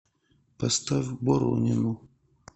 поставь боронину